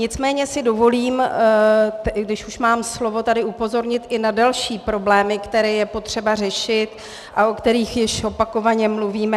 Nicméně si dovolím, když už mám slovo, tady upozornit i na další problémy, které je potřeba řešit a o kterých již opakovaně mluvíme.